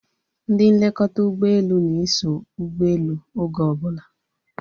Ndị nlekọta ụgbọelu na-eso ụgbọelu oge obula